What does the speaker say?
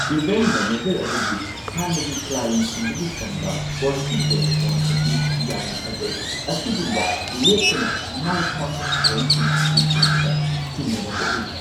Event manager ꯑꯗꯨꯒꯤ ꯍꯥꯟꯅꯒꯤ ꯀ꯭ꯂꯥꯏꯟꯠꯁꯤꯡꯗꯒꯤꯐꯪꯕ ꯄꯣꯖꯤꯇꯤꯚ ꯔꯦꯁꯄꯣꯟꯁ ꯑꯁꯤ ꯌꯥꯝꯅ ꯐꯖꯩ꯫ ꯑꯁꯤꯒꯨꯝꯕ ꯂꯦꯞꯇꯅ ꯃꯥꯏ ꯄꯥꯛꯄ ꯊꯧꯔꯝꯁꯤꯡ ꯑꯁꯤ ꯎꯕꯗ ꯆꯤꯡꯅꯕ ꯀꯣꯛꯍꯜꯂꯤ꯫